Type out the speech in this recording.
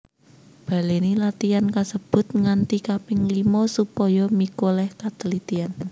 Balèni latihan kasebut nganti kaping limo supaya mikolèh katelitian